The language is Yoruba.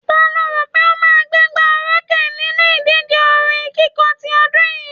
Ta lo rò pé ó máa gbégbá orókè nínú ìdíje orin kíkọ ti ọdún yìí?